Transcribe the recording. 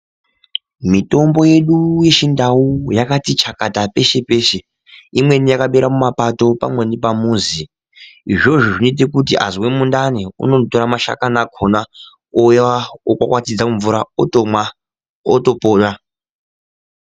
Mitombo yedu yechindau yakati chakata peshe peshe imweni yakadera mumapato pamweni pamuzi izvozvo zvinoita kuti azwa mundani anotora mashakani akona ouya okwakwatidza mumvura otomwa otopora.